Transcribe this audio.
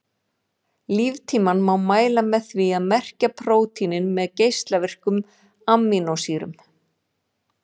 Líftímann má mæla með því að merkja prótínin með geislavirkum amínósýrum.